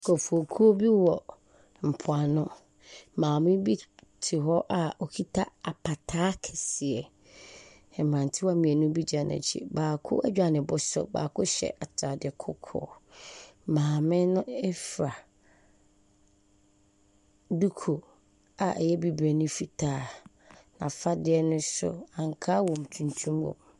Nkurɔfokuo bi wɔ mpoano. Maame bi te hɔ a ɔkita apataa kɛseɛ. Mmerantewaa mmienu bi gyina n'akyi. Baako adwa ne bo so. Baako hyɛ atade kɔkɔɔ. Maame no fira duku a ɛyɛ bibire ne ne fitaa. N'afadeɛ no nso, ankaa wɔ mu, tuntum wɔ .